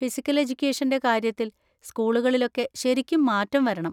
Physical എഡ്യൂക്കേഷൻ്റെ കാര്യത്തിൽ സ്‌കൂളുകളിലൊക്കെ ശരിക്കും മാറ്റം വരണം.